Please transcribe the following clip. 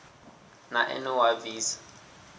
na ene u a bvisa